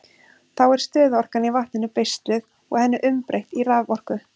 Þá er stöðuorkan í vatninu beisluð og henni umbreytt í raforku.